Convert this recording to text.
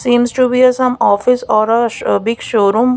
seems to be a some office or a sh big showroom.